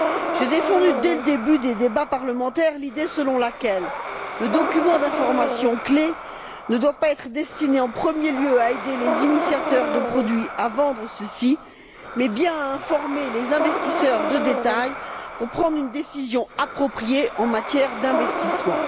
J'ai défendu, dès le début des débats parlementaires, l'idée selon laquelle le document d'information clé ne doit pas être destiné, en premier lieu, à aider les initiateurs de produits à vendre ceux ci, mais bien à informer les investisseurs de détail pour prendre une décision appropriée en matière d'investissement.